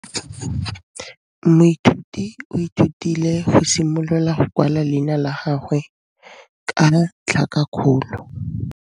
Moithuti o ithutile go simolola go kwala leina la gagwe ka tlhakakgolo.